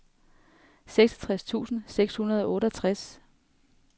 seksogtres tusind seks hundrede og otteogtres